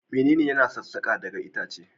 Menene yana sassaka daga itacen?